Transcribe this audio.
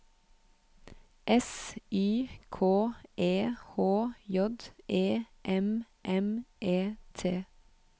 S Y K E H J E M M E T